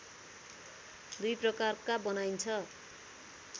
दुई प्रकारका बनाइन्छ